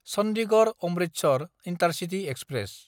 Chandigarh-Amritsar intercity express